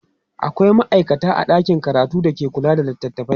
akwia maaikata a ɗakin karatu da ke kula da littatafai